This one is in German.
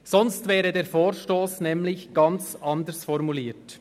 Sonst wäre der Vorstoss nämlich ganz anders formuliert.